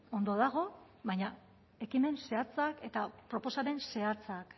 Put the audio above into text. ondo dago baina ekimen zehatzak eta proposamen zehatzak